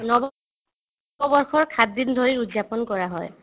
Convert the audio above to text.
নৱ নৱবৰ্ষক সাতদিন ধৰি উৎযাপন কৰা হয়